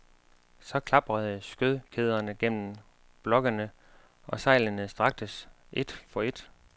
Så klaprede skødkæderne gennem blokkene og sejlene straktes, et for et.